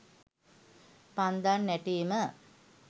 පන්දම් නැටීම